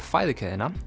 fæðukeðjuna